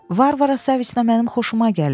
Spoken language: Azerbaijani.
Varvara Saniçna mənim xoşuma gəlir.